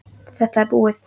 Þetta er búið!